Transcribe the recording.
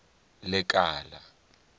lekala